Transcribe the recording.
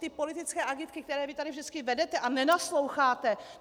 Ty politické agitky, které vy tady vždycky vedete a nenasloucháte.